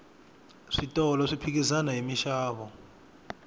switolo swi phikizana hi minxavo